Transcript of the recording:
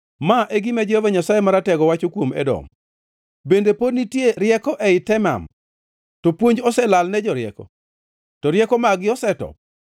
Ma e gima Jehova Nyasaye Maratego wacho kuom Edom: “Bende pod nitie rieko ei Teman? To puonj oselalne jorieko? To rieko mag-gi osetop?